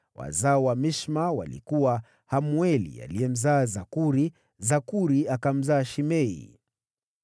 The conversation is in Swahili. Wazao wa Mishma walikuwa: Hamueli aliyemzaa Zakuri, Zakuri akamzaa Shimei.